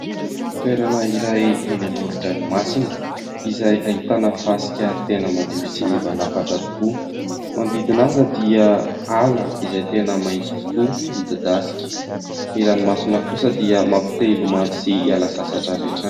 Toerana iray eny amoron-dranomasina izay ahitana fasika tena madio sy mivalapatra tokoa, ny manodidina azy dia ala izay tena maitso tokoa, mididasika, ny ranomasina kosa dia mampite hilomano sy hiala sasatra avy hatrany.